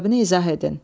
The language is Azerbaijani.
Səbəbini izah edin.